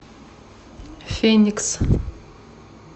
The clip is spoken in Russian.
феникс